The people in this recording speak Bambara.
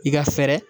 I ka fɛɛrɛ